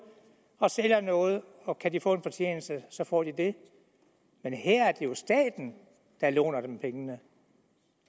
og sælger noget og kan de få en fortjeneste så får de det men her er det jo staten der låner dem pengene